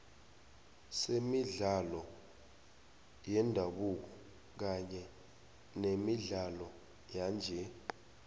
senemidlalo yendabuko kanye nemidlalo yanje